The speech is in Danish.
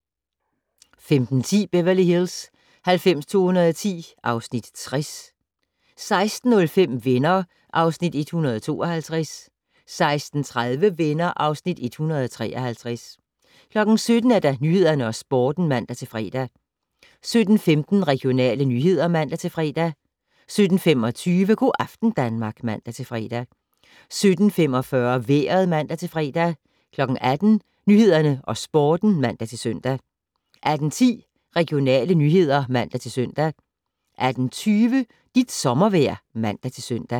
15:10: Beverly Hills 90210 (Afs. 60) 16:05: Venner (Afs. 152) 16:30: Venner (Afs. 153) 17:00: Nyhederne og Sporten (man-fre) 17:15: Regionale nyheder (man-fre) 17:25: Go' aften Danmark (man-fre) 17:45: Vejret (man-fre) 18:00: Nyhederne og Sporten (man-søn) 18:10: Regionale nyheder (man-søn) 18:20: Dit sommervejr (man-søn)